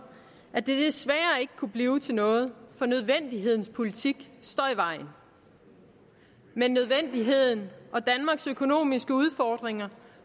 at det desværre ikke kunne blive til noget for nødvendighedens politik står i vejen men nødvendigheden og danmarks økonomiske udfordringer